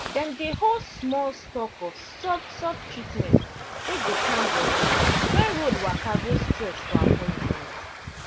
dem dey hold small stock of soft soft treatment wey go calm body when road waka go stress for appointment.